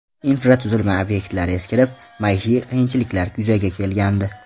Infratuzilma obyektlari eskirib, maishiy qiyinchiliklar yuzaga kelgandi.